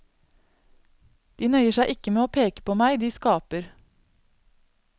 De nøyer seg ikke med å peke på meg, de skaper.